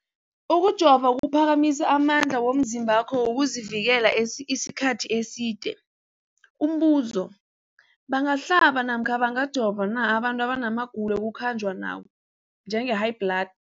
Ukujova kuphakamisa amandla womzimbakho wokuzivikela isikhathi eside. Umbuzo, bangahlaba namkha bangajova na abantu abana magulo ekukhanjwa nawo, njengehayibhladi?